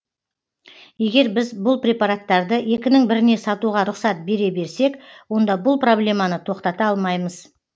егер біз бұл препараттарды екінің біріне сатуға рұқсат бере берсек онда бұл проблеманы тоқтата алмаймыз